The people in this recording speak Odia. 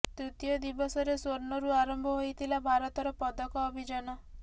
ତୃତୀୟ ଦିବସରେ ସ୍ୱର୍ଣ୍ଣରୁ ଆରମ୍ଭ ହୋଇଥିଲା ଭାରତର ପଦକ ଅଭିଯାନ